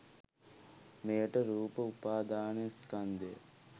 මෙයට රූප උපාදානස්කන්ධය